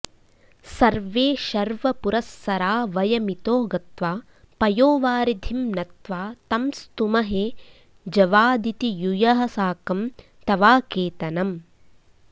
सर्वे शर्वपुरस्सरा वयमितो गत्वा पयोवारिधिं नत्वा तं स्तुमहे जवादिति युयः साकं तवाकेतनम्